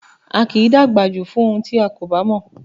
A kì í dàgbà jù fún ohun tí a kò bá mọ̀